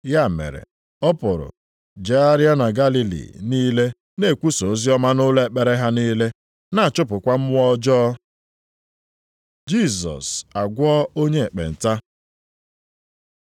Ya mere, ọ pụrụ jegharịa na Galili niile na-ekwusa oziọma nʼụlọ ekpere ha niile, na-achụpụkwa mmụọ ọjọọ. Jisọs agwọọ onye ekpenta